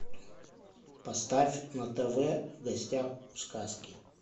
поставь на тв в гостях у сказки